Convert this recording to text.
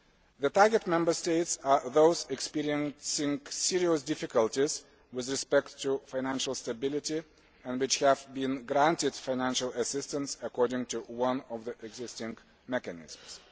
The target Member States are those experiencing serious difficulties with respect to financial stability and which have been granted financial assistance according to one of the existing mechanisms.